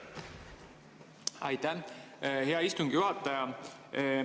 Aitäh, hea istungi juhataja!